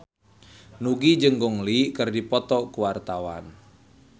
Nugie jeung Gong Li keur dipoto ku wartawan